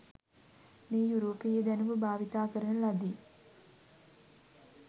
මේ යුරෝපීය දැනුම භාවිත කරන ලදි.